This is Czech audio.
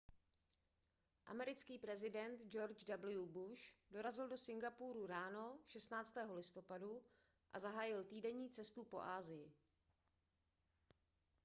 americký prezident george w bush dorazil do singapuru ráno 16. listopadu a zahájil týdenní cestu po asii